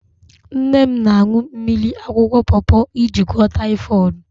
Nna m na-aṅụ mmiri akwụkwọ pọọpọ iji gwụọ taịfọd.